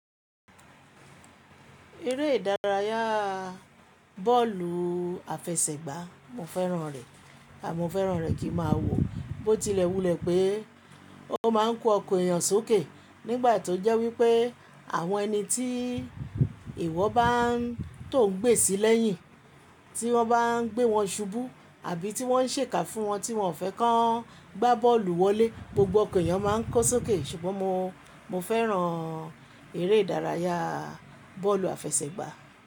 Eré ìdárayá bọ́ọ̀lù àfẹsẹ̀gbà mo fẹ́ràn rẹ, àmọ́ fẹ́ràn rẹ̀ kí máa wò bó tilẹ̀ wulẹ̀ pé ó máa ń kó ọkọ̀ èyàn sókè nígbà tó jẹ́ wípé àwọn ẹni tí ìwọ bá tò ń gbé sílẹ̀ yín tí wọ́n bá ń gbé wọn ṣubú àbí tí wọ́n ń ṣèkà fún wọn tí wọ́n ò fẹ́ kan gbá bọ́ọ̀lù wọlé, gbogbo ọkọ̀ èyàn máa ń kó sókè ṣùgbọ́n mo, mo fẹ́ràn eré ìdárayá bọ́ọ̀lù àfẹsẹ̀gbà.